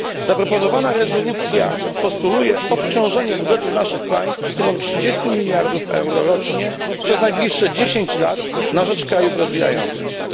Zaproponowana rezolucja postuluje obciążenie budżetów naszych państw sumą 30 miliardów euro rocznie przez najbliższe 10 lat na rzecz krajów rozwijających się.